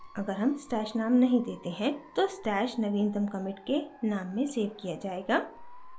अगर हम stash name नहीं देते हैं तो stash नवीनतम commit के name में सेव किया जाएगा